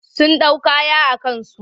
Sun ɗau kaya a kansu.